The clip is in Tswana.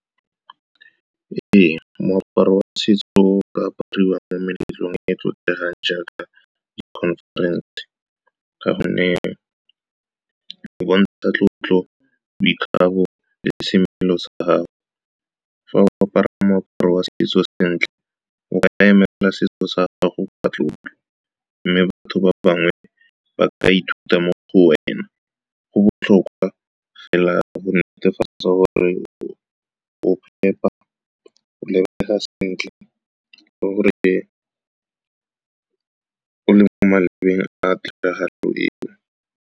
Ee, moaparo wa setso o ka apariwa mo meletlong e e tlotlegang jaaka di-conference ka gonne di bontsha sa tlotlo, boikgabo le semelo sa gago. Fa o apara moaparo wa setso sentle, o ka emela setso sa gago ka tlotlo, mme batho ba bangwe ba ka ithuta mo go wena. Go botlhokwa fela go netefatsa gore o phepa, o lebega sentle, le gore o a tiragalo eo.